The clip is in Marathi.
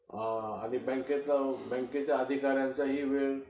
आणि बँकेच्या अधिकाऱ्यांचाही वेळ